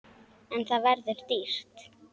En það verður dýrt.